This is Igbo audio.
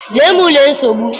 lee m lee nsogbu.